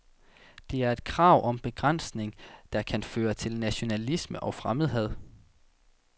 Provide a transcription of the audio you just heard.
Det er et krav om begrænsning, der kan føre til nationalisme og fremmedhad.